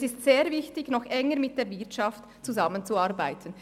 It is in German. Es ist sehr wichtig, noch enger mit der Wirtschaft zusammenzuarbeiten.